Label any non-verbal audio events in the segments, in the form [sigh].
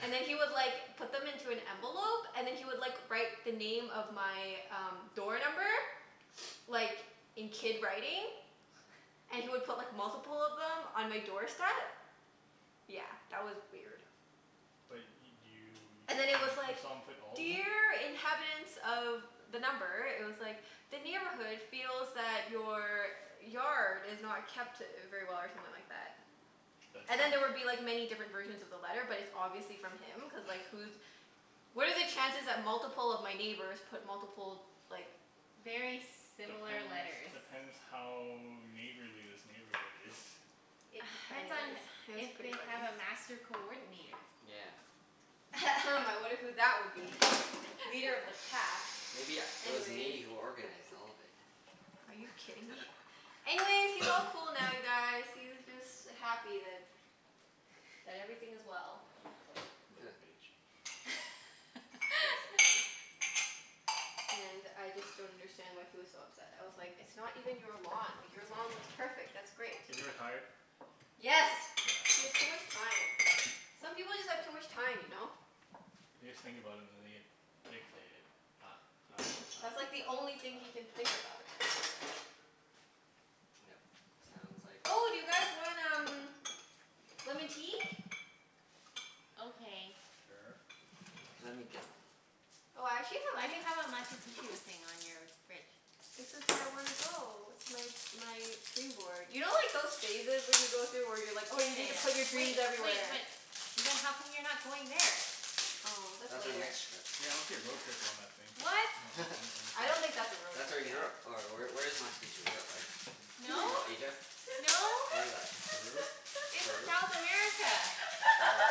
And then he would like put them into an envelope and then he would like write the name of my um door number, [noise] like in kid writing. And he would put like multiple of them on my doorstep. Yeah, that was weird. But y- And do then you, it was you saw him, like, you saw him put all of them? "Dear inhabitants of" the number, it was like, "The neighborhood feels that your yard is not kept very well" or something like that. That's And then there would be nice. like many different versions of the letter but it's obviously from him, cuz like who's, what are the chances that multiple of my neighbors put multiple like Very similar Depends, letters. depends how neighborly this neighborhood is. It [noise] depends on Anyways, it was if pretty they funny. have a master coordinator. Yeah. [noise] I wonder who that would be? Leader of the pack. Maybe u- it was Anyways. me who organized all of it. Are you kidding me? Anyways, he's all cool now you [noise] guys. He's just happy that, that everything is well. Huh. Little bitch. Basically. [laughs] And I just don't understand why he was so upset. I was like, it's not even your lawn. Like your lawn looks perfect. That's great. Is he retired? Yeah, Yes. He has too okay. much time. Some people just have too much time, you know? They just think about it and then they get fixated. Ah ah ah ah That's like the only thing he can think ah. about [inaudible] Yep. Sounds like. Oh, do you guys want um lemon tea? Okay. Sure. Let me get them. Oh, I actually have Why do you have a [inaudible] Machu Picchu thing on your fridge? This is where I wanna go. It's my my dream board. You know like those phases when you go through, where you're like Oh oh yeah you need to put your yeah dreams yeah. Wait wait, everywhere? but then how come you're not going there? Oh that's That's our later. next trip. Yeah [inaudible] road trip on that thing. What? On on I [laughs] don't think that's a the [inaudible] road That's where trip, yeah. Europe or where where is Machu Picchu? Europe, right? No, No. Asia? No. Where is that? Peru? It's Peru? South America. Oh.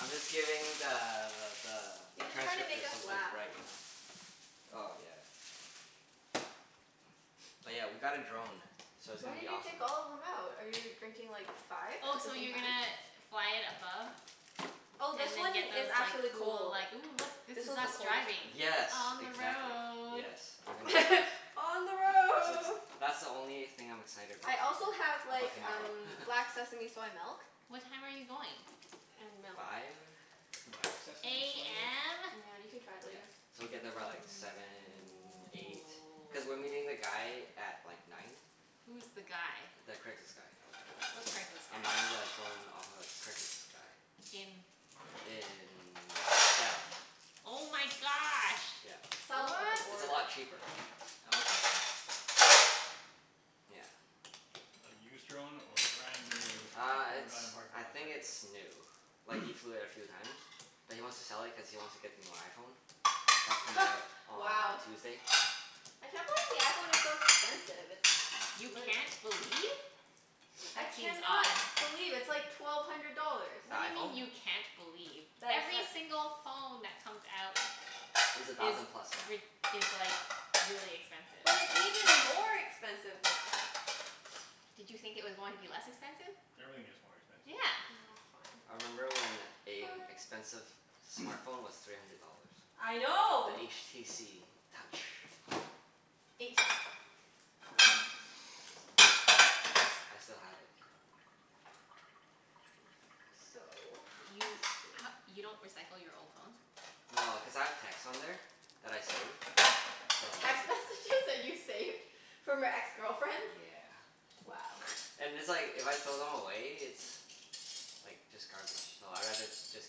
I'm just giving the the He's just trying to make transcriptor us something to laugh. write, you know? That's Oh all. yeah. Oh yeah, we got a drone, so it's Why gonna be did you awesome. take all of them out? Are you drinking like five Oh at the so same you're time? gonna fly it above? Oh, this And then one get is those like actually cool cold. like, "Ooh look, this This is one's the us coldest driving." one. Yes, On the exactly. road. Yes. We're gonna [laughs] On the [inaudible] That's road. that's the only thing I'm excited about I so also have far, like about tomorrow. um [laughs] black sesame soy milk. What time are you going? And milk. Five. Black sesame soy milk? AM? Yeah, you can try it Yeah. later. So we get there by like seven, eight. Cuz we're meeting the guy [noise] at like nine. Who's the guy? The Craigslist guy. What Craigslist guy? I'm buying the drone off of a Craigslist guy. In In Seattle. Oh my gosh. Yeah, South of the it's What? a border. lot cheaper. Okay. Yeah. A used drone or a brand new Uh from a it's, guy in a parking I lot think kind it's new. of Like he deal? [noise] flew it a few times. But he wants to sell it cuz he wants to get the new iPhone. That's coming out [noise] on Wow. Tuesday. I can't believe the iPhone is so expensive. It's You literal. can't believe? I That seems can not odd. believe. It's like twelve hundred dollars. The What do you mean iPhone? you can't believe? Every single phone that comes out Is a is thousand plus now. rid- is like really expensive. But it's even more expensive now. Did you think it was going to be less expensive? Everything gets more expensive. Yeah. Oh I fine. remember when a Fine. expensive smart phone was three hundred dollars. I know. The HTC Touch. H? I s- I still have it. [noise] So, let's You see. h- you don't recycle your old phones? No, cuz I have texts on there that I save, so. Text messages that you saved from your ex-girlfriends? Yeah. Wow. And it's like, if I throw them away it's like just garbage, so I'd rather just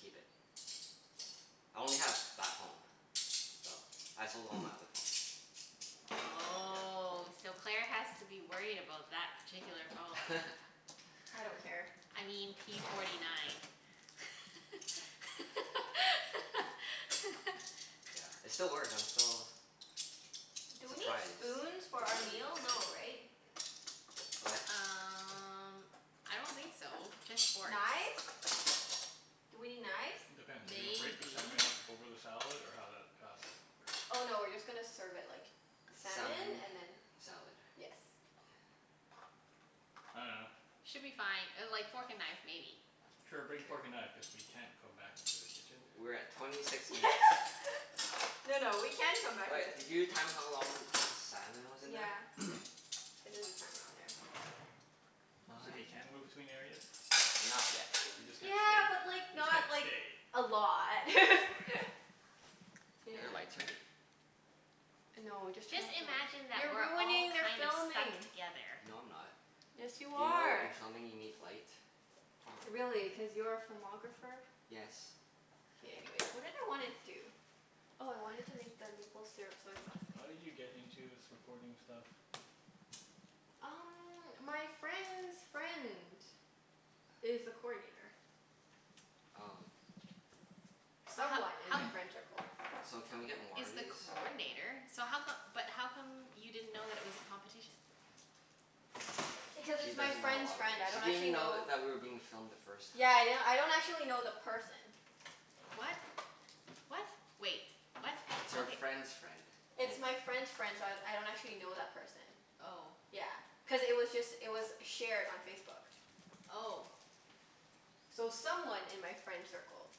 keep it. I only have that phone. So, I sold all my other [noise] phones. Oh, so Claire has to [inaudible] that particular phone. Yeah. [laughs] I don't care. [laughs] I mean p forty nine. [laughs] Yeah, it still works, I'm still Do we need surprised spoons for the our battery meal? No, has [inaudible] right? What? Um I don't think so. Just forks. Knives? Do we need knives? Depends. Are you gonna break the Maybe. salmon up over the salad, or how that, how's that gonna Oh work? no, we're just gonna serve it like salmon Salmon. and then. Salad. Yes. I dunno. Should be fine. Uh like fork and knife maybe. Sure, K. bring fork and knife, cuz we can't come back into the kitchen. We're at twenty six minutes. [laughs] No no, we can come back All right, into the did you kitchen. time how long the salmon was in there? Yeah. K. [noise] I did the timer on there. So we can move I between areas? Not yet. We [noise] just can't Yeah, stay? but like We just can't not like stay. a lot. [laughs] Okay. Is Yeah. there lights here? No, just turn Just off the light. imagine that You're we're all ruining their kind of stuck filming. together. No, I'm not. Yes, you You know in are. filming you need light? [noise] Really? Cuz you're a filmographer? Yes. Okay, anyways. What did I wanna do? Oh I wanted to make the maple syrup soy sauce thing. How did you get into this recording stuff? Um my friend's friend is the coordinator. Oh. But ho- Someone in my ho- [noise] friend tircle. So can we get more he's of the these? coordinator, so how come, but how come you didn't know that it was a competition? Because She it's my doesn't know a friend's lot of friend. things. I She don't didn't even actually know know. that we were being filmed the first time. Yeah yeah, I don't actually know the person. What? What? Wait. What? It's her Okay. friend's friend. It's my friend's friend, so I I don't actually know that person. Oh. Yeah, cuz it was just, it was shared on Facebook. Oh. So someone in my friend circle.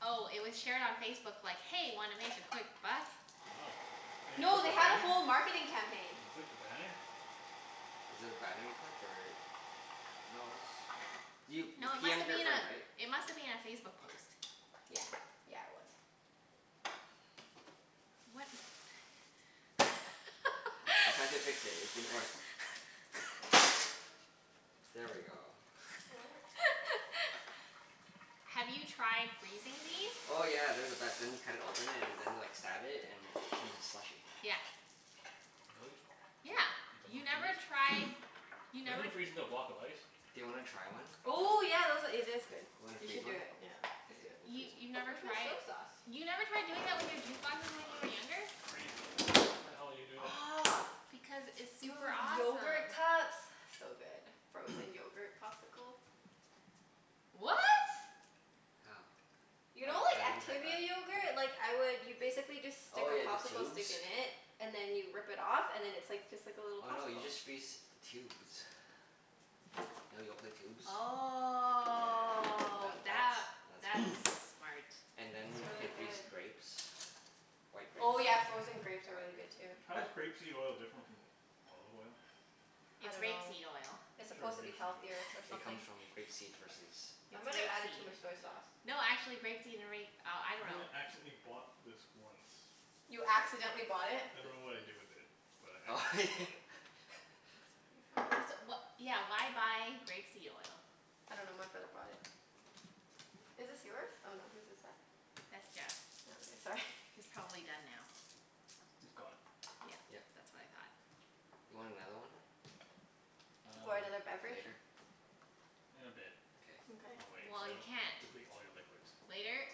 Oh, it was shared on Facebook like, "Hey, wanna make a quick buck?" Oh. And you No, clicked they the had a banner? whole marketing campaign. You clicked the banner? Was it a banner you clicked or? No it was, you you No, it p must m'ed have your been friend right? a, it must have been a Facebook post. Yeah. Yeah, it was. What? I tried to [laughs] fix it. It didn't work. [laughs] There we go. What? [laughs] Have you tried freezing these? Oh yeah. They're the best. Then you cut it open and then like stab it and it turns into slushy. Yeah. Really? Yeah. Yep. You It never doesn't tried, freeze? you [noise] Doesn't never it freeze into a block of ice? Do you wanna try one? Oh yeah, those a- , it is good. You wanna You freeze should do one? it. Yeah. Let's Okay. do it. We'll You freeze you've one. never Where's my tried? soy sauce? You never tried doing it with your juice boxes when you were younger? Crazy. Why the hell you would do that? Aw, Because it's do it super with awesome. yogurt cups? So good. Frozen [noise] yogurt popsicle. What? How? You know I I like haven't tried that. Activia yogurt? Like I would, you basically just stick Oh a yeah, the popsicle tubes? stick in it and then you rip it off and then it's like just like a little Oh no, you popsicle. just freeze the tubes. You know Yoplait tubes? Yeah, Oh that that, that's that's that's [noise] smart. And then you can freeze grapes. White grapes. Oh yeah, frozen grapes are White really good grapes. too. How I is grape seed oil different from olive oil? I It's rape dunno. seed oil. It's Sure, supposed to be rape seed healthier or oil. It something. comes from grape seed versus [laughs] I It's might have rape added too seed. much soy sauce. No, actually grape seed and ra- oh, I dunno. I accidentally bought this once. You accidentally bought it? I dunno Di- what I did with it, but I accidentally bought it. [laughs] That's pretty funny. So wha- yeah, why buy grape seed oil? I dunno, my brother brought it. Is this yours? Oh no, whose is it? That's Jeff's. Oh okay. Sorry. It's probably done now. It's gone. Yeah. Yep. That's what I thought. You want another one? Or Um another beverage? Later? In a bit. Okay. Mkay. I'll wait. So Well, I you don't can't. deplete all your liquids. Later?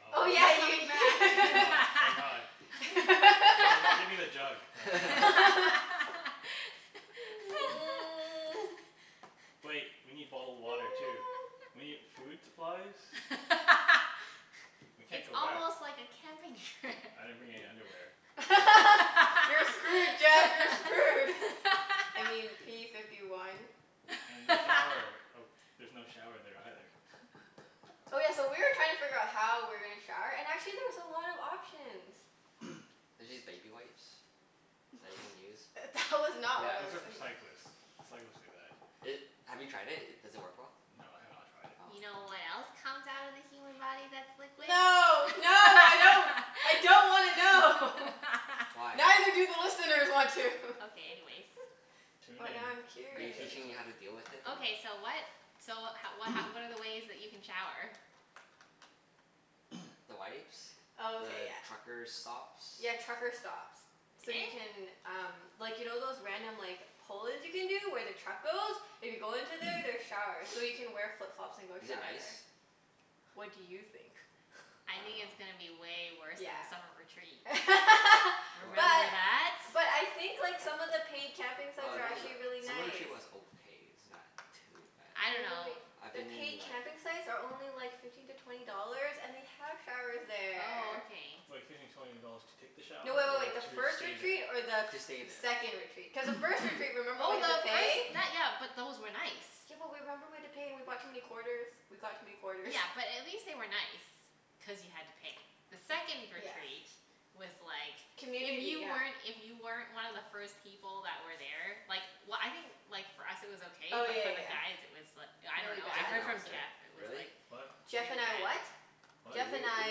[inaudible] Oh Oh my yeah yeah ye- [laughs] god. Oh my god. [laughs] Give me give me the jug. [laughs] [noise] Wait. We need bottled water too. We need food supplies. [laughs] We can't It's go back. almost like a camping trip. I didn't bring any underwear. [laughs] [laughs] You're screwed Jeff, you're screwed. I mean p fifty one. And the shower. [laughs] Oh there's no shower there either. Oh yeah, so we were trying to figure how we were gonna shower and actually there's a lot of options. [noise] There's these baby wipes that you can use. That was not what I Those was Yeah. are for think- cyclists. Cyclists do that. It, have you tried it? Does it work well? No, I have not tried it. Oh. You know Hmm. what else comes out of the human body that's liquid? [laughs] No. No, I don't. I don't wanna know. Why? Neither do the listeners want to. [laughs] Okay, anyways. Tune But in. now I'm Are you curious. teaching me how to deal with it or? Okay so what, so ho- wh- h- what are the ways that you can shower? [noise] The wipes. Oh okay, The yeah. trucker stops. Yeah, trucker stops. So you can um, like you know those random like pull-ins you can do where the truck goes? If you go into there there's [noise] showers, so you can wear flip-flops and go [noise] Is it shower nice? there. What do you think? I think I it's going to dunno. be way worse Yeah. than the summer retreat. [laughs] Remember What But that? but I think like some of the paid camping Well, sites are not actually the, really some of the nice. [inaudible] was okay. It's not too bad. I dunno. I've The been in paid like camping sites are only like fifteen to twenty dollars and they have showers Oh there. okay. Like fifteen to twenty dollars to take the shower No, wait wait or wait. The to first stay retreat there? or the To stay th- there. second retreat? Cuz the first retreat [noise] remember we Oh had to no, pay? those, that, yeah, but those were nice. Yeah but w- remember we had to pay and we brought too many quarters? We got too many quarters. Yeah, but at least they were nice, cuz you had to pay. The second Yeah. retreat was like, if Community, you yeah. weren't, if you weren't one of the first people that were there Like w- I think like for us it was okay Oh but for yeah the yeah guys it was l- I yeah. Really dunno, I Jeff bad? and heard I was from there. Jeff it was Really? like What? Jeff really and I bad. what? W- Jeff and we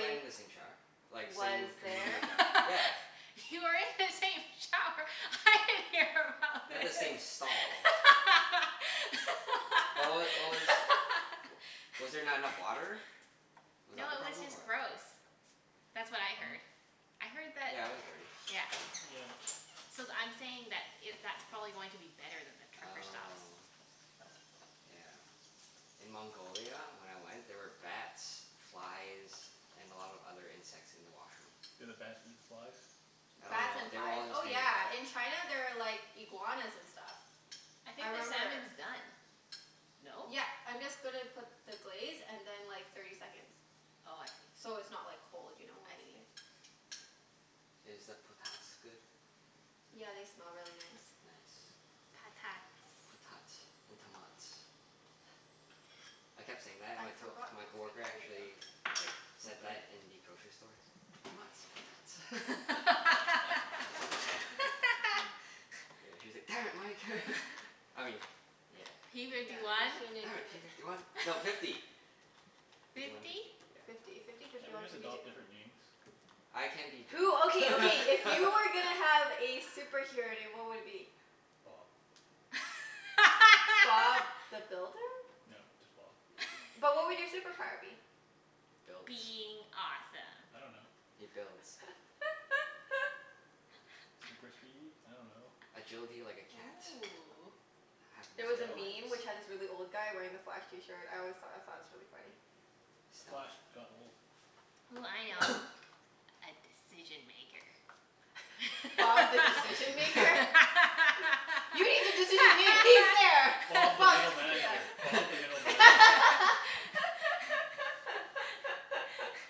went in the same shower. Like Was same there? community shower. Yeah. [laughs] You were in the same shower? I didn't hear about Not the this. [laughs] same stall. But what w- what was, was there not enough water? Was that No, the it was problem? just Or gross. That's what I heard. Oh. I heard that, Yeah, it was dirty. yeah. Yeah. So th- I'm saying that it, that's probably going to be better than the trucker stops. Oh. Yeah. In Mongolia when I went, there were bats, flies, and a lot of other insects in the washroom. Did the bats eat the flies? I don't Bats know. and They were flies? all just Oh hanging out. yeah, in China there are like iguanas and stuff. I I think the remember salmon's done, no? Yep, I'm just gonna put the glaze and then like thirty seconds. Oh, I see. So it's not like cold, you know, when I we eat see. it? Is the potats good? Yeah, they smell really nice. Nice. Patats. Potats and tomats. I kept saying that and I my to- forgot my the green coworker onion though. actually like said that [inaudible] in the grocery store. Tomats. Potats. [laughs] Yeah, [laughs] she was like, "Damn it, Mike." [laughs] I mean, yeah. P Yeah fifty one? [inaudible] Damn give it. P it. fifty one. No, [laughs] fifty. Fifty one, Fifty? fifty. Yeah. Fifty. Fifty, fifty Can't we one, just fifty two. adopt different names? I can be Jeff. Who, okay, okay, if you were gonna [laughs] have a superhero name what would it be? Bob. Bob [laughs] the Builder? No, just Bob. But what would your [laughs] superpower be? Builds. Being awesome. I don't know. He builds. [laughs] Super speed? I dunno. Agility like a cat. Ooh. Have There nine was a lives. Stealth? meme which had this really old guy wearing the Flash t-shirt. I always thought, I thought it was really funny. Stealth? Flash got old. Ooh, I know. [noise] A decision maker. That's Bob the not a Decision Maker? superpower. [laughs] You need a decision made? He's there! Bob the Bob's middle manager. [inaudible] Bob [laughs] the middle manager. [laughs]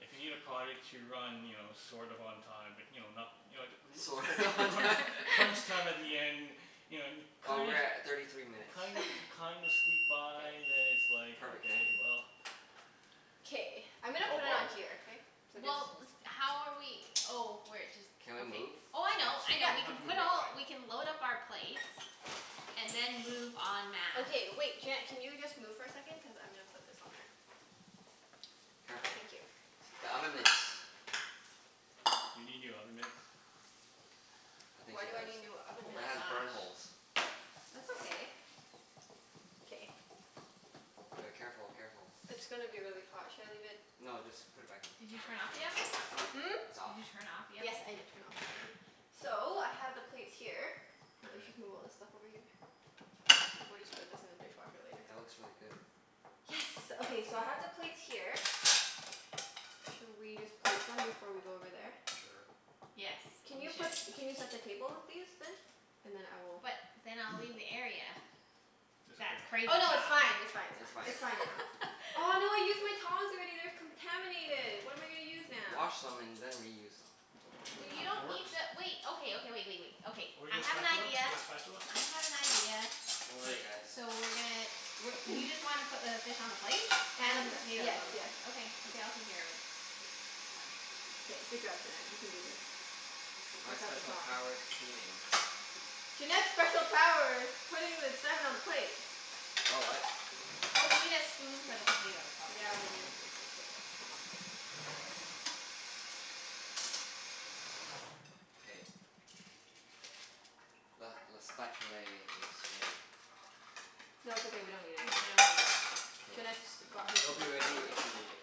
If you need a project to run, you know, sort of on time, but you know, not You know t- Sort of l- on t- time? crunch [laughs] [laughs] time at the end You know and Oh, kind we're of at thirty three minutes. kind of kind of squeak by then it's like, Perfect okay, timing. well K, I'm gonna Call put it Bob. on here, okay? So just Well, with, how are we oh, we're jus- Can we okay. move Oh I spots? know, I We know, Yep. don't we have can to move put right all, away. we can load up our plates and then move en masse. Okay wait, Junette can you just move for a second? Cuz I'm gonna put this on there. Ah Careful. thank you. The oven mitts. You need new oven mitts? I think Why she do I does. need new oven Oh It mitts? my has burn gosh. holes. That's okay. K. D- careful, careful. It's gonna be really hot. Should I leave it No, just put it back in. Did you turn off the oven? Hmm? It's off? Did you turn off the Yes, oven? I did turn off the oven. So, I have the plates here. Let's just move K. all this stuff over here. We'll just put this in the dishwasher later. That looks really good. Yes. Good job, Okay, team. so I have the plates here. Should we just plate them before we go over there? Sure. Yes, Can we you put, should. can you set the table with these then? And then I will But then I'll leave [noise] the area. It's That's okay. crazy Oh no, it's talk. [laughs] fine, it's fine, it's It's fine. fine. It's fine now. Oh no, I used my tongs already. They're contaminated. What am I gonna use now? Wash them and then reuse them. Well you Two don't forks? need [noise] to wait, okay, okay, wait wait wait. Okay. Or you I got a have an spatula? idea. You got a spatula? I have an idea. Don't K. worry guys. So we're gonna w- you [noise] just want to put the fish on the plate? And the And, potatoes yes, on the yes. plate? Okay. Okay, I'll take care of it. Fine. K, good job Junette. You can do this. My Without the special tongs. power's cleaning. Junette's special power is putting the salmon on a plate. Oh, what? Oh, we need a spoon for the potatoes probably. Yeah, we need a spoon for the potatoes. Hold on a second. K. Le le spatulay is ready. No, it's okay, we don't need it No, anymore. we don't need it. K. Junette's got her It'll be super ready power. if you need it.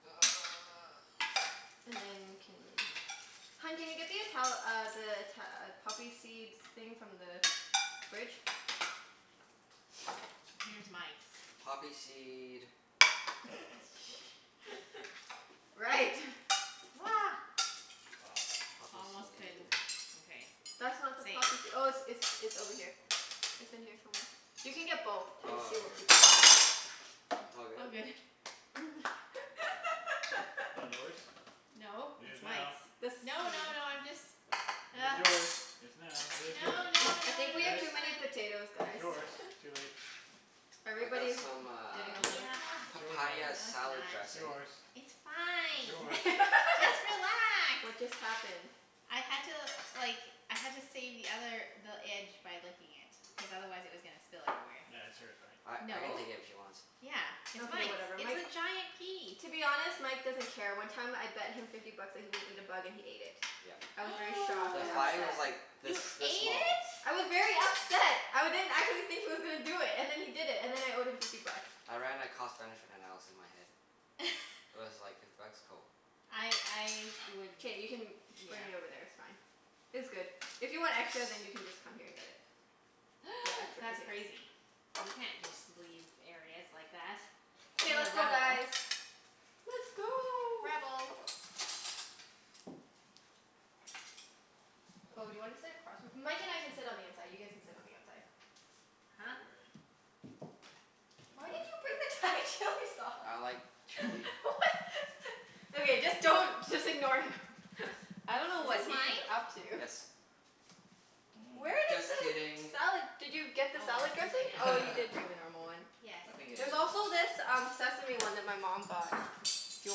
[noise] And then can, [noise] hun can you get the Ital- uh the Ita- uh poppy seeds thing from the fridge? Here's Mike's. Poppy seed [laughs] Right. [noise] Ah. Poppy Almost seed couldn't, okay. That's not the Saved. poppysee- oh it's it's it's over here. It's in here somewhere. You can get both and Oh, see what here. people want. It all All good. good. That [laughs] yours? No, It is it's now. Mike's. The No, no, no, [inaudible] I'm just It is yours. [noise] It's now. It is yours. No, no, I no, think we no, have Yes. it's too many fine. potatoes It's guys. yours. [laughs] Too late. I got Everybody's some getting uh a little Yeah. It's yours now. papaya No, it's salad not. It's dressing. yours. It's It's fine. yours. Just [laughs] relax. What just happened? I had to like, I had to save the other, the edge by licking it. Cuz otherwise it was gonna spill everywhere. That's hers, right? I I can No. take it if she wants. Yeah, it's Okay Mike's. whatever. It's Mike, a giant piece. to be honest, Mike doesn't care. One time I bet him fifty bucks that he wouldn't eat a bug and he ate it. Yep. I was very shocked The and fly was upset. [noise] like this You ate this small. it? I was very upset. I didn't, I didn't think he was gonna do it, and then he did it. And then I owed him fifty bucks. I ran a cost benefit analysis in my head. [noise] [laughs] It was like, fifty bucks? Cool. I I would, K, you can yeah. bring it over there, it's fine. It's good. If you want extra Yes. then you can [noise] just come here and get it. [noise] That's [inaudible] crazy. You can't just leave areas like that. Okay What a let's go rebel. guys. Let's go. Rebel. [noise] Oh, do you want to sit across from, Mike and I can sit on the inside. You guys can sit on the outside. Huh? Why did [inaudible] you bring the Thai chili sauce? I like [laughs] chili. [noise] What? [laughs] Okay, just don't, just ignore him. I don't know Is what this he's mine? up to. Yes. Where Mm. did Just the kidding. salad, did you get the Oh well, salad it's too late dressing? now. Oh, you did [laughs] bring the normal one. Yes. I think it There's is yours. also this um sesame one that my mom got. If you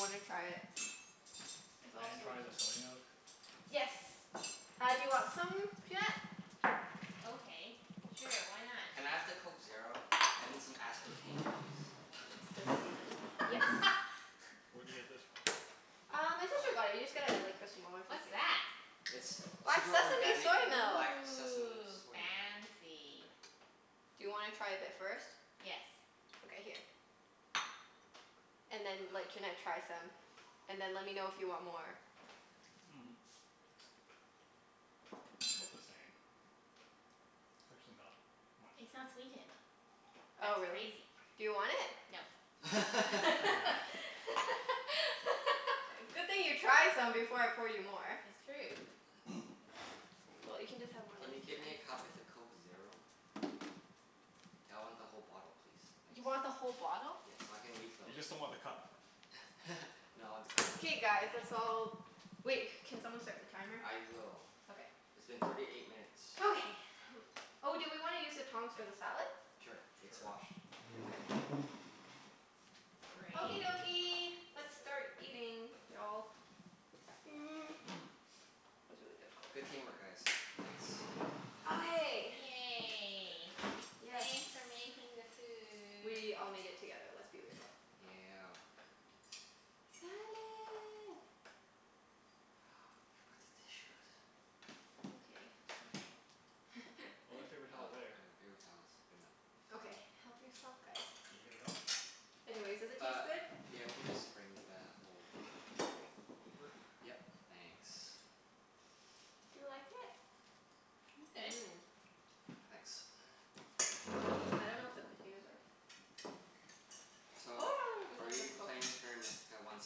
wanna try it. There's Can all I try the sorts of soy milk? Yes. Uh do you want some, Junette? Okay, sure. Why not? Can I have the Coke Zero? I need some aspartame please. It's You this like this one. one? Yes. [laughs] Where do you get this from? Uh, my sister got it. [noise] You just get a like [inaudible] or What's something. that? It's Black super sesame organic soy milk. black sesame Ooh, soy milk. Mmm. fancy. Do you wanna try a bit first? Yes. Okay, here. And then let Junette [noise] try some. And then let me know if you want more. [noise] Mm. 'Bout the same. It's actually not much It's not different. sweetened. Oh, That's really? crazy. Do you want it? No. [laughs] [laughs] I can have it. Good thing you tried some before I poured you more. It's true. [noise] Well, you Cool. can just have my Can lemon you tea get me then. a cup with a Coke Zero? I want the whole bottle please. Thanks. You want the whole bottle? Yes, so I can refill You it. just don't want the cup. [laughs] No, I want the cup too. K guys, let's You want all, it. wait, can someone start the timer? I will. Okay. It's been thirty eight minutes. Okay. [noise] Oh, do we wanna use the tongs for the salad? Sure, it's Sure. washed. Okay. Okie Great. dokie, let's start [inaudible] eating y'all. Mm, [noise] was really difficult. Good team work guys. Thanks. Okay. Yay. Yay. Yes. Thanks for [noise] making the food. We all made Yeah. it together. Let's be real. Yeah. Salad. [noise] We forgot the tissues. It's okay. [inaudible] Oh, there's [laughs] Oh, I got paper paper towels there. towels. Good enough. Okay, help yourself guys. You need paper towel? Anyways, does it Uh, taste good? yeah we can just bring the whole Okay. roll. Over? Yep. Thanks. [laughs] Do you like [noise] it? It's good. Mmm. Thanks. I don't know if the potatoes are So [noise] are we [inaudible] playing [noise] Terra Mystica once